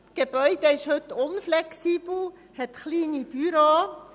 Das Gebäude ist heute unflexibel, und hat kleine Büros.